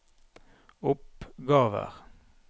oppgaver